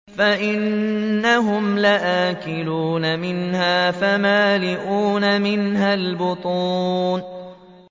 فَإِنَّهُمْ لَآكِلُونَ مِنْهَا فَمَالِئُونَ مِنْهَا الْبُطُونَ